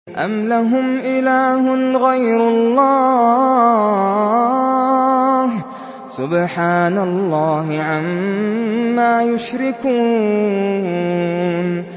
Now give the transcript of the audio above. أَمْ لَهُمْ إِلَٰهٌ غَيْرُ اللَّهِ ۚ سُبْحَانَ اللَّهِ عَمَّا يُشْرِكُونَ